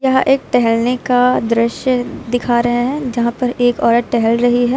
यह एक टहलने का दृश्य दिखा रहा है यहां पर एक औरत टहल रही है।